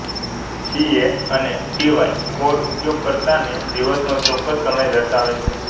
CA અને PY code ઉપયોગકર્તાને દિવસનો ચોક્કસ સમય દર્શાવે છે